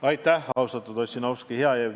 Aitäh, austatud Ossinovski!